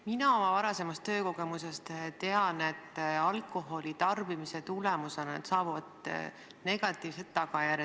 Mina oma varasema töökogemuse põhjal tean, et alkoholitarbimisel on negatiivsed tagajärjed.